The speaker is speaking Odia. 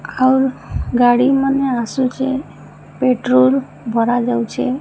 ଆଉ ଗାଡ଼ି ମାନେ ଆସୁଚେ। ପେଟ୍ରୋଲ ଭରା ଯାଉଛେ।